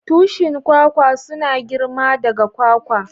Tushin kwakwa suna girma daga kwakwa.